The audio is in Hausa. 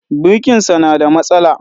Birkinsa na da matsala